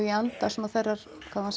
í anda svona þeirrar